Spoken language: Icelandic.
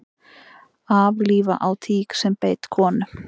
Aflífa á tík sem beit konu